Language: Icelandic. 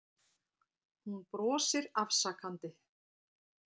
Hún brosir afsakandi.